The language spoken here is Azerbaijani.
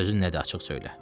Sözün nədir, açıq söylə.